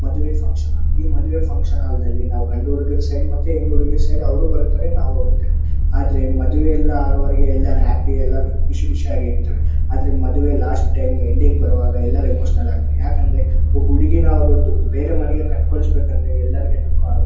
ಮದುವೆ function hall ಈ ಮದುವೆ ಫಂಕ್ಷನ್ ಹಾಲ್ ನಲ್ಲಿ ನಾವ್ ಗಂಡು ಹುಡುಗರ ಸೈಡ್ ಹೆಣ್ಣು ಹುಡುಗಿಯ ಸೈಡ್ ಅವರು ಬರ್ತಾರೆ ನಾವು ಹೋಗ್ತಿವಿ ಆದ್ರೆ ಮದುವೆ ಎಲ್ಲಾ ಆಗುವವರೆಗೂ ಎಲ್ಲಾ ರಾತ್ರಿ ಎಲ್ಲಾ ಖುಷಿ ಖುಷಿ ಆಗಿ ಇರ್ತೀವಿ ಆದ್ರೆ ಮದುವೆ ಲಾಸ್ಟ್ ಟೈಮ್ ಎಂಡಿಂಗ್ ಬರುವಾಗ ಎಲ್ಲರೂ ಎಮೋಷನಲ್ ಆಗ್ತಾರೆ ಯಾಕಂದ್ರೆ ಒಬ್ಬ ಹುಡುಗಿನ ಅವರ ಬೇರೆ ಮನೆಗೆ ಕೊಟ್ಟು ಕಳಿಸ ಬೇಕೆಂದರೆ ಎಲ್ಲರಿಗೂ ದುಃಖ ಆಗತ್ತೆ.